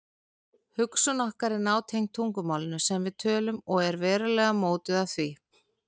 Hugsun okkar er nátengd tungumálinu sem við tölum og verulega mótuð af því.